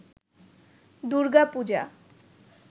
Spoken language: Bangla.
দূর্গা পূজা